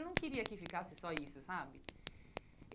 Eu não queria que ficasse só isso, sabe?